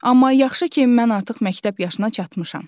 Amma yaxşı ki, mən artıq məktəb yaşına çatmışam.